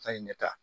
A ye ɲɛ ta